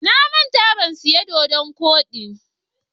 Na manta in siya doɗon koɗi ba.